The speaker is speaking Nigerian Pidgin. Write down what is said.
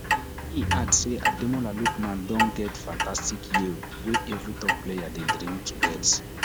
e add say ademola lookman don get fantastic year wey evri top player dey dream to get